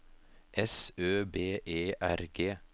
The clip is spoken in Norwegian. S Ø B E R G